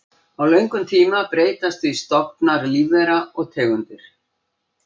Á löngum tíma breytast því stofnar lífvera og tegundir.